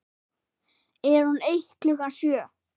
Er hún eitt klukkan sjö?